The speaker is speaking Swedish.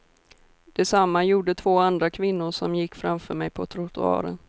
Detsamma gjorde två andra kvinnor som gick framför mig på trottoaren.